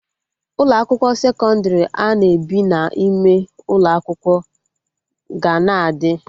Ụlọ akwụkwọ sekọndrị ana ebi n'ime ụlọ akwụkwọ ga na-adị